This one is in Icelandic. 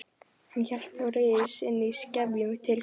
Hann hélt þó reiði sinni í skefjum til kvölds.